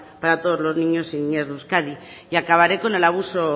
para todos los niños y niñas de euskadi y acabaré con el abuso